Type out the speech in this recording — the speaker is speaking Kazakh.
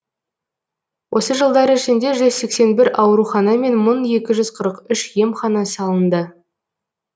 осы жылдар ішінде жүзсексен бір аурухана мен мың екі жүз қырық үш емхана салынды